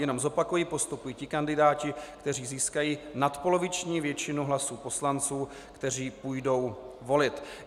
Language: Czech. Jenom zopakuji, postupují ti kandidáti, kteří získají nadpoloviční většinu hlasů poslanců, kteří půjdou volit.